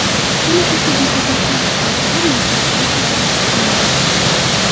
Kuni kecha deputatlar ishtirokida maktablar ko‘zdan kechirilgan.